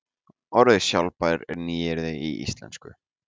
Orðið sjálfbær er nýyrði í íslensku.